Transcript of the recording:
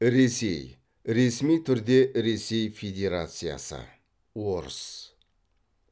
ресей ресми түрде ресей федерациясы орыс